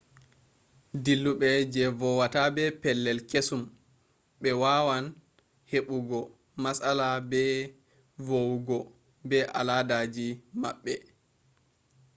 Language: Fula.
dillube je vo wata be pellei kesum be wawan hebo go matsala be vo wogo be aladaji mabbe